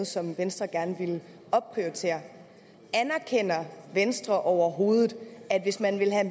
som venstre gerne ville opprioritere anerkender venstre overhovedet at hvis man vil have